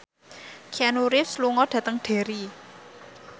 Keanu Reeves lunga dhateng Derry